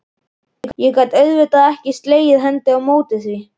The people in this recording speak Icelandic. Ég gat auðvitað ekki slegið hendi á móti því.